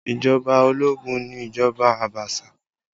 Ìjọba ológun ni ìjọba Abaṣa